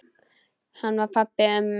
Hann var pabbi mömmu.